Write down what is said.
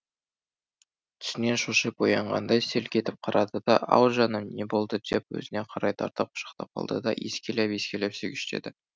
түсінен шошып оянғандай селк етіп қарады да ау жаным не болды деп өзіне қарай тартып құшақтап алды да иіскелеп иіскелеп сүйгіштеді